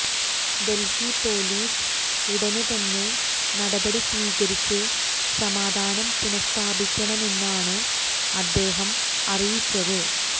Delhi police ഉടന് തന്നെ നടപടി സ്വീകരിച്ച് സമാധാനം പുനഃസ്ഥാപിക്കണമെന്നാണ് അദ്ദേഹം അറിയിച്ചത്